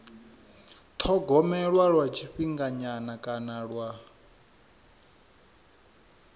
thogomelwa lwa tshifhinganyana kana lwa